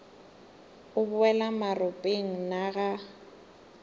o boela maropeng na ga